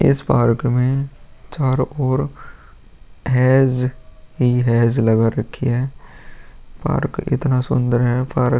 इस पार्क में चारो ओर हेज ही हेज लगा रखे है पार्क इतना सुंदर है पार्क --